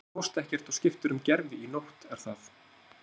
Þú fórst ekkert og skiptir um gervi í nótt, er það?